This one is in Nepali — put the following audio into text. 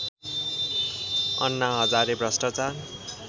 अन्ना हजारे भ्रष्टाचार